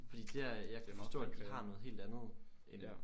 Fordi dér jeg kan forstå at de har noget helt andet end